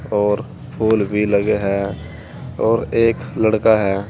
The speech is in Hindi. और फूल भी लगे हैं और एक लड़का है।